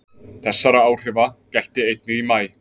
Þessara áhrifa gætti einnig í maí